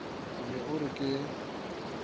o ne o re ke